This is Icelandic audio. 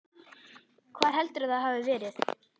Hvar heldurðu að það hafi verið?